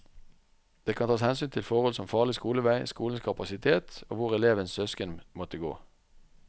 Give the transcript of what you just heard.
Det kan tas hensyn til forhold som farlig skolevei, skolenes kapasitet og hvor elevens søsken måtte gå.